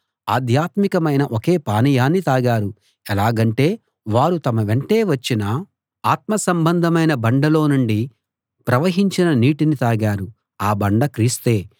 ఆధ్యాత్మికమైన ఒకే పానీయాన్ని తాగారు ఎలాగంటే వారు తమ వెంటే వచ్చిన ఆత్మసంబంధమైన బండలో నుండి ప్రవహించిన నీటిని తాగారు ఆ బండ క్రీస్తే